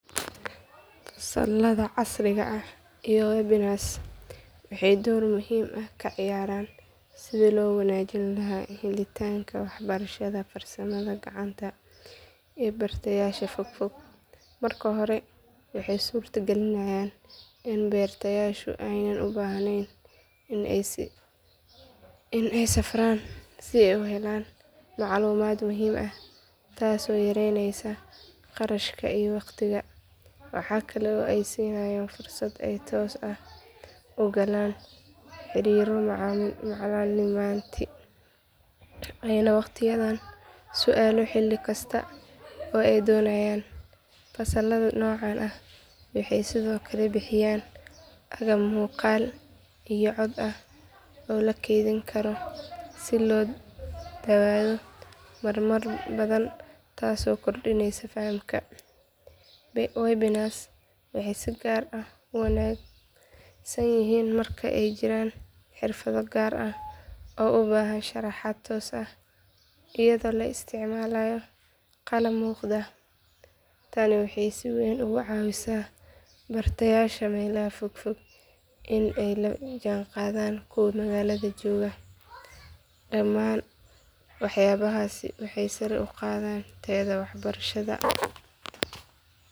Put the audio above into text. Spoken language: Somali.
Fasalada casriga ah iyo webinars waxay door muhiim ah ka ciyaaraan sidii loo wanaajin lahaa helitaanka waxbarashada farsamada gacanta ee bartayaasha fogfog. Marka hore waxay suurtagelinayaan in bartayaashu aanay u baahnayn in ay safraan si ay u helaan macluumaad muhiim ah taasoo yareyneysa kharashka iyo waqtiga. Waxaa kale oo ay siinayaan fursad ay si toos ah ugala xiriiro macallimiinta ayna weydiiyaan su’aalo xilli kasta oo ay doonayaan. Fasalada noocan ah waxay sidoo kale bixiyaan agab muuqaal iyo cod ah oo la kaydin karo si loo daawado marar badan taasoo kordhineysa fahamka. Webinars waxay si gaar ah u wanaagsan yihiin marka ay jiraan xirfado gaar ah oo u baahan sharaxaad toos ah iyadoo la isticmaalayo qalab muuqda. Tani waxay si weyn uga caawisaa bartayaasha meelaha fogfog in ay la jaanqaadaan kuwa magaalada jooga. Dhamaan waxyaabahaasi waxay sare u qaadaan tayada waxbarashada.